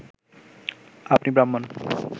আপনি ব্রাহ্মণ